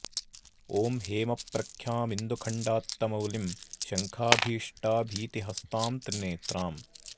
ॐ हेम प्रख्यामिन्दु खण्डात्तमौलिं शङ्खाभीष्टा भीति हस्तां त्रिनेत्राम्